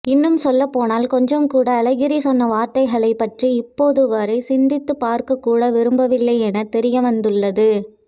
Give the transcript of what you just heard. இன்னும் சொல்லப்போனால் கொஞ்சம்கூட அழகிரி சொன்ன வார்த்தைகளை பற்றி இப்போதுவரை சிந்தித்து பார்க்ககூட விரும்பவில்லை என தெரியவந்துள்ளது